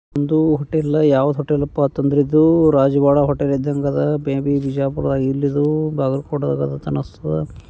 ಒಂದು ಹೋಟೆಲ್ ಯಾವ ಹೋಟೆಲ್ ಅಪ್ಪ ಅತಂದ್ರು ಇದು ರಾಜ್ವಾಡಾ ಹೋಟೆಲ್ ಇದ್ದಂಗ್ ಅದ ಮೇ ಬಿ ಬಿಜಾಪುರ ಇಲ್ಲಿದು ಬಾಗಲಕೋಟದಾಗ ಇದ ಅನಸ್ತದ್ .